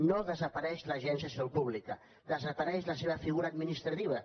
no desapareix l’agència de salut pública desapareix la seva figura administrativa